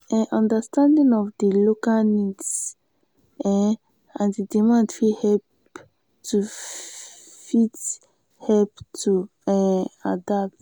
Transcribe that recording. um understanding of di local needs um and demand fit help to fit help to um adapt